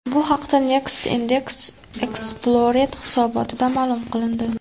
Bu haqda Net Index Explorer hisobotida ma’lum qilindi .